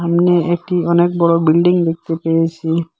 সামনে একটি অনেক বড়ো বিল্ডিং দেখতে পেয়েসি।